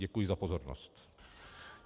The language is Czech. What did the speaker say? Děkuji za pozornost.